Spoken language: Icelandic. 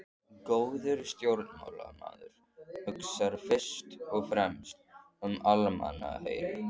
Góður stjórnmálamaður hugsar fyrst og fremst um almannaheill.